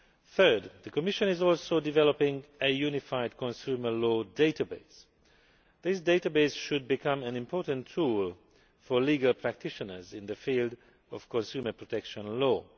Third, the Commission is also developing a unified consumer law database. This database should become an important tool for legal practitioners in the field of consumer protection law.